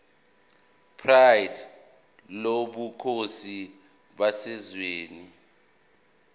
pride lobukhosi baseswazini